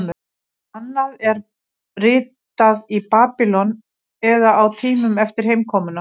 Annað er ritað í Babýlon eða á tímanum eftir heimkomuna.